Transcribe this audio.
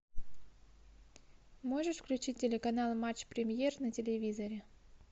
можешь включить телеканал матч премьер на телевизоре